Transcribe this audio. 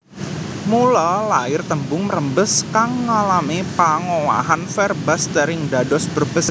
Mula lair tembung mrembes kang ngalami pangowahan verbastering dados Brebes